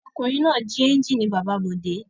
Ọkùnrin náà jí ẹ́ńjínì bàbá Bọ̀dé.